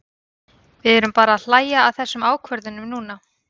Við erum bara að hlæja að þessum ákvörðunum núna.